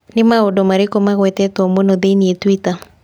Nĩ maũndũ marĩkũ magwetetwo mũno thĩinĩ twitter